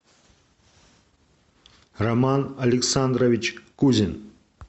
роман александрович кузин